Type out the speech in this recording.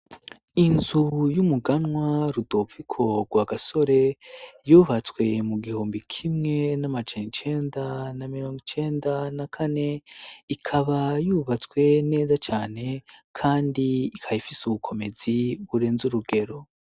Inzu y'umuganwa Rudoviko Rwagasore yubatswe mu gihumbi kimwe n'amajana icenda na mirongo icenda na kane, ikaba yubatswe neza cane kandi ikaba ifise ubukomezi burenze urugero.